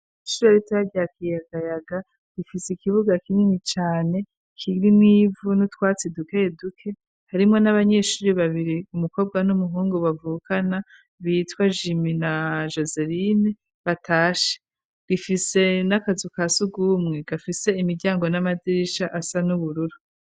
Ishure ritoya rya Kiyagayaga rifise ikibuga kinini cane kiri nivu nutwatsi duke duke harimo n'abanyeshuri babiri umukobwa n'umuhungu bavukana bitwa jimi na joserine batashe, rifise n'akazu ka sugumwe gafise imiryango n'amadirisha asa n'ubururu.